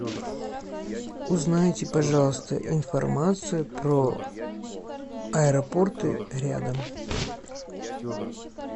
узнайте пожалуйста информацию про аэропорты рядом